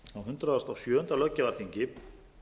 á hundrað og sjöunda löggjafarþingi